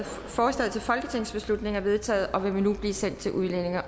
forslaget til folketingsbeslutning er vedtaget og vil nu blive sendt til udlændinge